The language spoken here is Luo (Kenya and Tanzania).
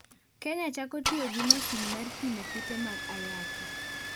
Kenya chako tiyo gi masin mar pimo kute mag Ayaki